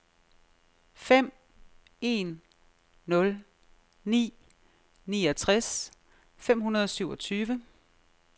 fem en nul ni niogtres fem hundrede og syvogtyve